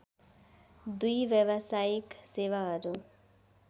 दुई व्यावसायिक सेवाहरू